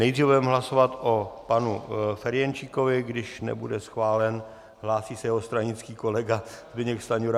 Nejdříve budeme hlasovat o panu Ferjenčíkovi, když nebude schválen, hlásí se jeho stranický kolega Zbyněk Stanjura.